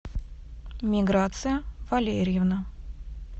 миграция валерьевна